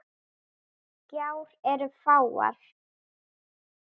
Gjár eru fáar.